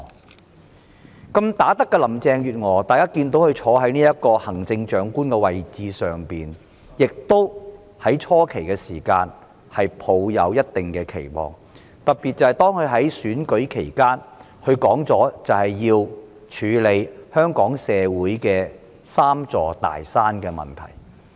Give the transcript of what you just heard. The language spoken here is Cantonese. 大家看到"好打得"的林鄭月娥坐在行政長官的位置，初期也抱一定期望，特別是她在選舉期間明言會處理香港社會"三座大山"的問題。